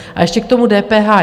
A ještě k tomu DPH.